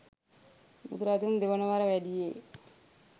බුදුරජුන් දෙවන වර වැඩියේ